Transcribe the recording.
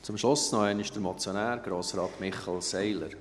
Zum Schluss noch einmal der Motionär, Grossrat Michel Seiler.